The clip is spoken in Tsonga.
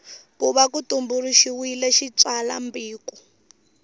ku va ku tumbuluxiwile xitsalwambiko